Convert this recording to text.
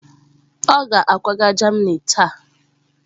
Ọ ga-akwaga Germany taa.